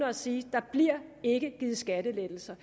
og sige der bliver ikke givet skattelettelser